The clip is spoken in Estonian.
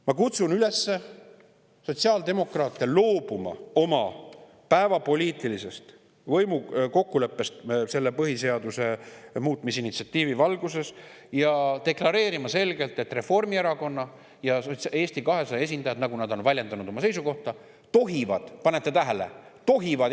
Ma kutsun sotsiaaldemokraate üles loobuma oma päevapoliitilisest võimukokkuleppest selle põhiseaduse muutmise initsiatiivi valguses ja selgelt deklareerima, et Reformierakonna ja Eesti 200 esindajad, nagu nad on oma seisukohta väljendanud, tohivad – kas panete tähele: tohivad!